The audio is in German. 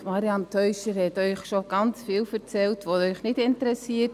Grossrätin Teuscher-Abts hat Ihnen viel erzählt, was Sie anscheinend nicht interessiert.